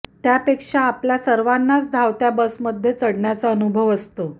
त्यापेक्षा आपल्या सर्वांनाच धावत्या बसमध्ये चढण्याचा अनुभव असतो